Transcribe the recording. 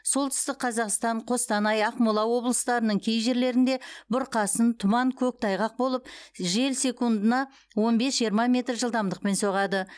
солтүстік қазақстан қостанай ақмола облыстарының кей жерлерінде бұрқасын тұман көктайғақ болып жел секундына он бес жиырма метр жылдамдықпен соғады